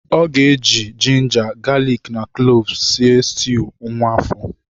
Ọ ga-eji ginger, galik na kloves sie stuu nwa afọ.